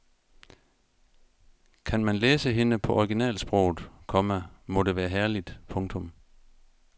Kan man læse hende på originalsproget, komma må det være herligt. punktum